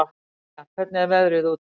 Dallilja, hvernig er veðrið úti?